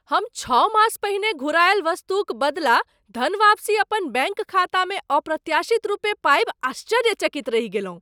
हम छओ मास पहिने घुरायल वस्तुक बदला धनवापसी अपन बैङ्क खातामे अप्रत्याशित रूपे पाबि आश्चर्यचकित रहि गेलहुँ।